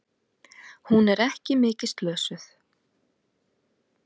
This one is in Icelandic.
Hún er ekki mikið slösuð.